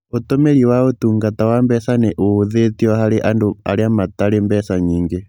Ũtumiri wa ũtungata wa mbeca nĩ ũhũthĩtio harĩ andũ arĩa matarĩ mbeca nyingĩ.